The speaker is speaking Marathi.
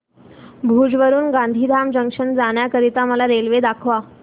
भुज वरून गांधीधाम जंक्शन जाण्या करीता मला रेल्वे दाखवा